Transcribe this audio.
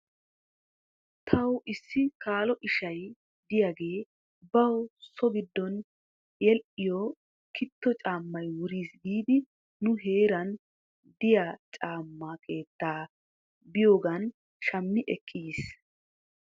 Taw issi kaalo ishay diyaagee baw so giddon hedhdhiyoo kiitto caamay wuris giidi nu heeran dd'iyaa caama keettaa biyoogan shammi ekkidi yiis.